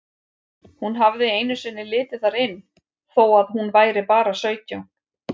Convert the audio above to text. Hún hafði einu sinni litið þar inn þó að hún væri bara sautján.